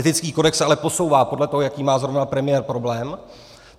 Etický kodex se ale posouvá podle toho, jaký má zrovna premiér problém.